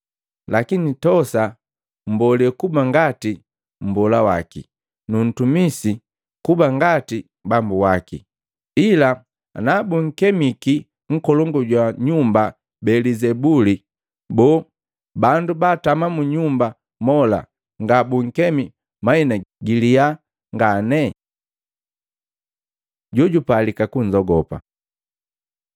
Lakini tosa mmbolee kuba ngati mmbola waki, nu mtumisi kuba ngati bambu waki. Ila anabunkemiki nkolongu jwa nyumba Belizebuli, boo, bandu baatama mu nyumba mola nga bunkemi mahina giliya ngane? Jojupalika kunzogopa Luka 12:2-7